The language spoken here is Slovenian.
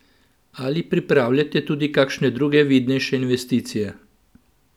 Ali pripravljate tudi kakšne druge vidnejše investicije?